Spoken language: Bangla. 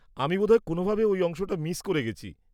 -আমি বোধহয় কোনোভাবে ওই অংশটা মিস করে গেছি।